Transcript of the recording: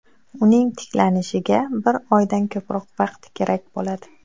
Uning tiklanishiga bir oydan ko‘proq vaqt kerak bo‘ladi.